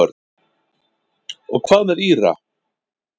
Og hvað með Íra?